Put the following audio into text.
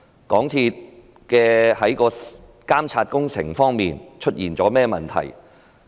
港鐵公司在監察工程方面出現甚麼問題？